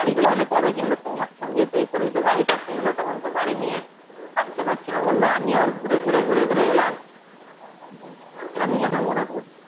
গাড়িটা তবে কবে কিনলো তোমার সঙ্গে এ করেই তো গাড়িটা কিনলো তখন তো গাড়ি নিয়ে আস্তে পারছিনা বললো আমি আবার ঘুরে ঘুরে ঘুরে ঘুরে এলাম এরকমই যেন মনে পড়ছে